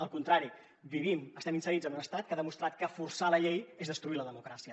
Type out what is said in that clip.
al contrari vivim estem inserits en un estat que ha demostrat que forçar la llei és destruir la democràcia